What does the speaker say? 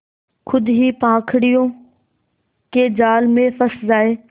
खुद ही पाखंडियों के जाल में फँस जाए